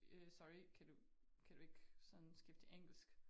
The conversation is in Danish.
Øh sorry kan du ikke kan du ikke sådan skifte til engelsk?